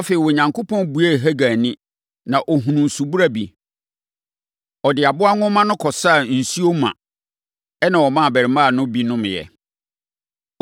Afei, Onyankopɔn buee Hagar ani, ma ɔhunuu subura bi. Ɔde aboa nwoma no kɔsaa nsuo ma, ɛnna ɔmaa abarimaa no bi nomeeɛ.